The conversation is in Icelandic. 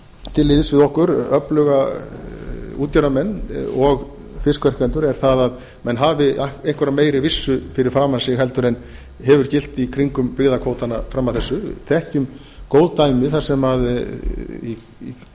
til liðs við okkur öfluga útgerðarmenn og fiskverkendur er það að menn hafi einhverja meiri vissu fyrir framan sig en hefur gilt í kringum byggðakvótana fram að þessu þekkjum góð dæmi í